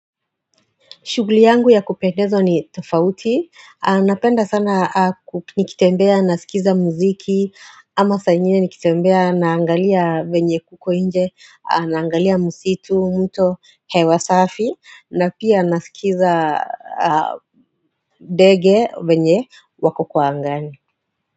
Shughuli yangu ya kupendeza ni tofauti, napenda sana nikitembea, nasikiza muziki, ama saa ingine nikitembea, naangalia venye kuko inje, naangalia misitu, mto hewa safi, na pia nasikiza ndege venye wako kwa angani.